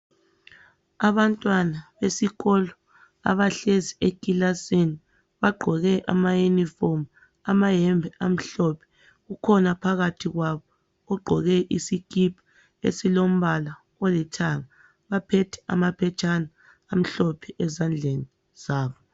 Abantwana besikolo abahlezi ekilasini bagqoke amayinifomu, amayembe amhlophe. Kukhona phakathi kwabo ogqoke isikipa esilombala olithanga. Baphethe amaphetshana amhlophe ezandleni zabo.